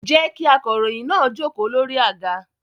Jẹ́ kí akọ̀ròyìn náà jókòó lórí àga.